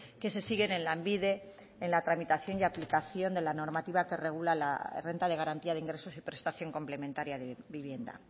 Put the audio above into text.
que se siguen en lanbide en la tramitación y aplicación de la normativa que regula la renta de garantía de ingresos y prestación complementaria de vivienda